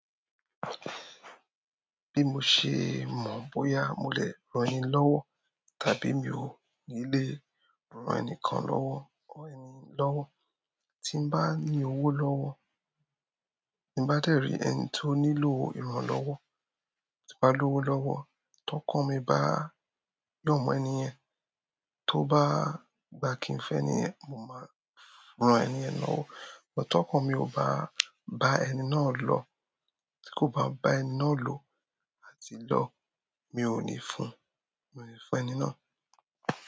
Bí mo ṣe mọ̀ bóyá mo lè rán ni lọ́wọ́ tàbí mi ò ní lè rán ẹni kan lọ́wọ́, rán ẹni lọ́wọ́. Tí n bá ní owó lọ́wọ́, tí n bá dẹ́ rí ẹni tó nílò ìrànlọ́wọ́, tí n bá lówó lọ́wọ́, tọkan mi bá ro mọ ẹni yẹn, tó bá gbà kí n fún ẹni yen, mo máa rán ẹni yẹn lọ́wọ́. Ṣùgbọ́n tokan mi ò bá bá ẹni náà lọ tí kò bá bá ẹni náà lò àti lọ̀, mi ò ní fún, mi ò ní fún ẹni náà.